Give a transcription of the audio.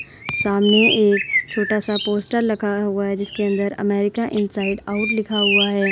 सामने एक छोटा-सा पोस्टर लगा हुआ है। जिसके अंदर अमेरिका इन्साइड आउट लिखा हुआ है।